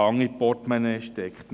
Hand ins Portemonnaie steckt.